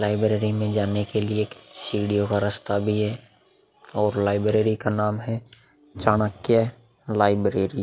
Library मे जाने के लिये एक सीढ़ियों का रास्ता भी है और लाइब्रेरी का नाम है चाणक्य लाइब्रेरी ।